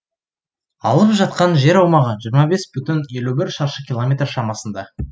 алып жатқан жер аумағы жиырма бес бүтін елу бір шаршы километр шамасында